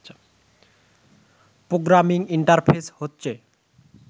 programming interface হচ্ছে